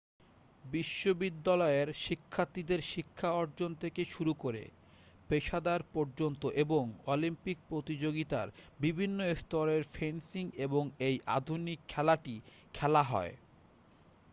বিশ্ববিদ্যালয়ের শিক্ষার্থীদের শিক্ষা অর্জন থেকে শুরু করে পেশাদার পর্যন্ত এবং অলিম্পিক প্রতিযোগিতার বিভিন্ন স্তরেও ফেন্সিং এর এই আধুনিক খেলাটি খেলা হয়